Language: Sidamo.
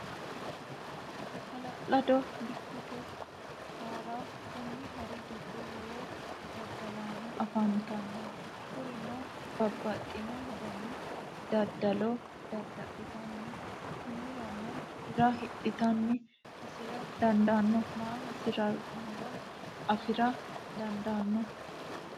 Ha'lalado dikkote hara, koni hari gido lowo dadalaano afantanno kuriuno babaxino dani dadalo dadalitano, konirano hira hidhate hasire daano mani hasirinore afira dandaano